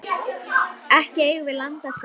Ekki eigum við land að sjó.